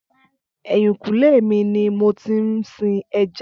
Ẹ̀yìnkùlé mi ni mo ti ń sin ẹja